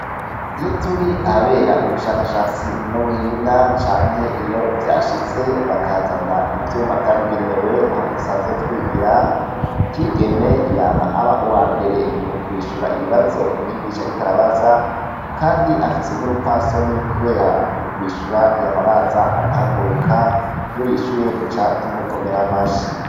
Uyoturi ahabera ubushakashatsi n'ubuhinga canke iyo vyashitse bakaza ivyuma vyabigenewe aho dusanzwe twigira; kigeme yama aba uwambere mukwishura ibibazo umwigisha ariko arabaza; kandi afise r'urupfasoni kubera mukwishura yama abanza agahaguruka. Iyoyishuye duca tumukomera amashi.